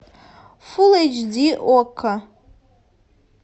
фулл эйч ди окко